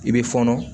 I bɛ fɔnɔ